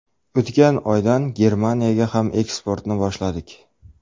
O‘tgan oydan Germaniyaga ham eksportni boshladik.